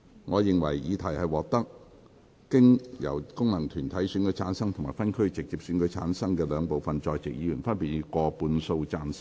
我認為議題獲得經由功能團體選舉產生及分區直接選舉產生的兩部分在席議員，分別以過半數贊成。